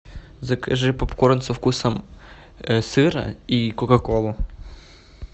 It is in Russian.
закажи попкорн со вкусом сыра и кока колу